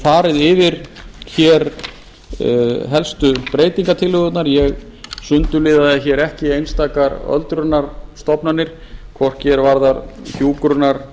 farið yfir helstu breytingartillögurnar ég sundurliðaði ekki sérstakar öldrunarstofnanir hvorki er varðar hjúkrunar